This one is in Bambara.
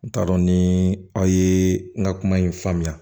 N t'a dɔn ni aw ye n ka kuma in faamuya